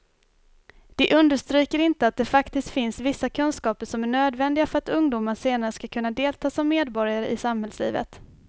De understryker inte att det faktiskt finns vissa kunskaper som är nödvändiga för att ungdomar senare ska kunna delta som medborgare i samhällslivet.